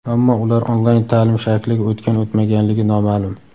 Ammo ular onlayn ta’lim shakliga o‘tgan-o‘tmaganligi noma’lum.